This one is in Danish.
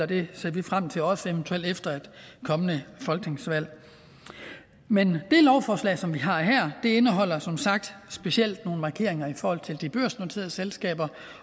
det ser vi frem til også eventuelt efter et kommende folketingsvalg men det lovforslag som vi har her indeholder som sagt specielt nogle markeringer i forhold til de børsnoterede selskaber